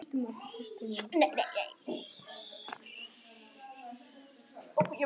Skoðið einnig svörin